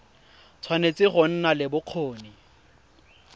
tshwanetse go nna le bokgoni